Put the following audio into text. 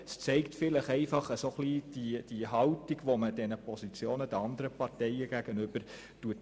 Dies zeigt vielleicht, welche Haltung man den anderen Parteien entgegenbringt.